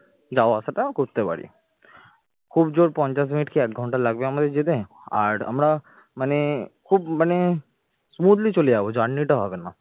যাওয়া আসাটা করতে পারি, খুব জোর পঞ্চাশ মিনিট কি এক ঘন্টা লাগবে আমাদের যেতে আর আমরা মানে খুব মানে smoothly চলে যাব journey টা হবে না